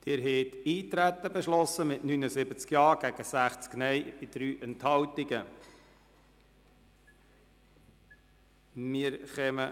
Sie haben dem Eintreten mit 79 Ja- und 60 Nein-Stimmen bei 3 Enthaltungen zugestimmt.